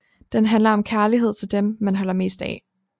Den handler om kærlighed til dem man holder mest af